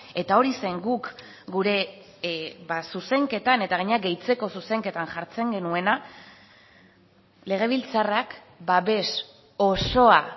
eta hori zen guk gure zuzenketan eta gainera gehitzeko zuzenketan jartzen genuena legebiltzarrak babes osoa